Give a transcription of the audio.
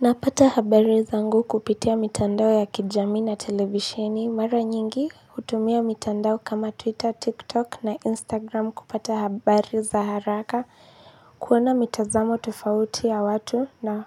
Napata habari zangu kupitia mitandao ya kijami na televisheni mara nyingi hutumia mitandao kama twitter, tiktok na instagram kupata habari za haraka kuona mitazamo tofauti ya watu na